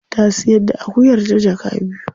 Ta siyar da akuyarta jaka biyu.